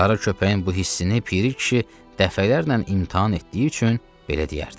Qara köpəyin bu hissini Piri kişi dəfələrlə imtahan etdiyi üçün belə deyərdi.